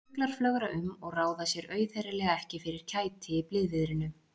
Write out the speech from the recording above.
Fuglar flögra um og ráða sér auðheyrilega ekki fyrir kæti í blíðviðrinu.